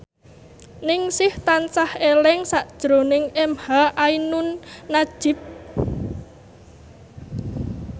Ningsih tansah eling sakjroning emha ainun nadjib